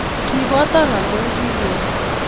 Kibotan amu kinywei